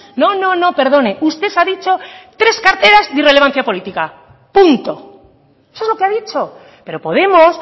no no perdone usted ha dicho tres carteras de irrelevancia política punto eso es lo que ha dicho pero podemos